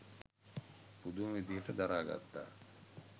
පුදුම විදිහට දරා ගත්තා.